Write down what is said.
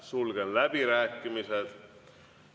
Sulgen läbirääkimised.